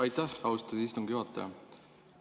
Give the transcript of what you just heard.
Aitäh, austatud istungi juhataja!